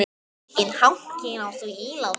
Enginn hanki er á því íláti.